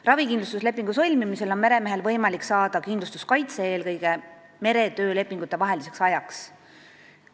Ravikindlustuslepingu sõlmimisel on meremehel võimalik saada kindlustuskaitse eelkõige meretöölepingute vaheliseks ajaks.